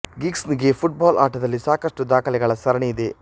gigs ನಿಗೆ football ಆಟದಲ್ಲಿ ಸಾಕಷ್ಟು ದಾಖಲೆಗಳ ಸರಣಿ ಇದೆ